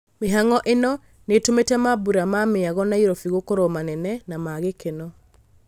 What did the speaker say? Mĩhang’o ĩno nĩtumĩte mambũra ma mĩago Nairobi gũkorwo manene na ma gĩkeno.